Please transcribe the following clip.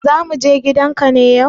Za mu je gidan ka ne yau?